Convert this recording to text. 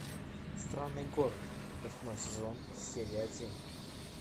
странный город восьмой сезон серия один